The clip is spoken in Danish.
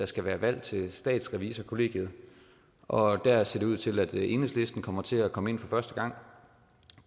skal være valg til statsrevisorkollegiet og der ser det ud til at enhedslisten kommer til at komme ind for første gang